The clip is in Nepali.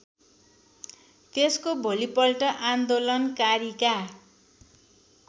त्यसको भोलिपल्ट आन्दोलनकारीका